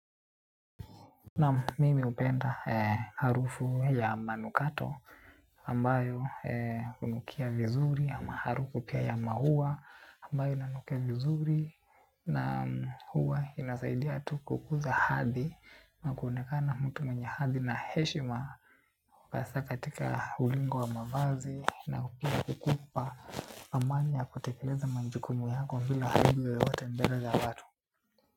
Naam mimi hupenda harufu ya manukato ambayo hunukia vizuri ama harufu pia ya maua ambayo inanukia vizuri. Na huwa inasaidia tu kukuza hadhi na kuonekana mtu mwenye hadhi na heshima. Hasa katika ulingo wa mavazi na pia kukupa amani ya kutekeleza majukumu yako bila aibu yoyote mbele za watu.